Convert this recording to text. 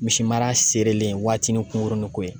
Misimara seerelen waati ni kunkurunin ko ye